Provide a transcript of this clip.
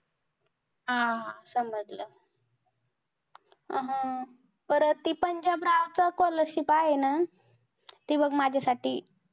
हा समजलं. हं परत ती पंजाबरावचं scholarship आहे ना. ती बघ माझ्यासाठी